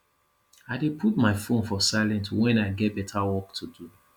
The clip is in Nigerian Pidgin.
i dey put my phone for silent wen i get beta work to do